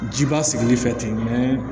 Jiba sigili fɛ ten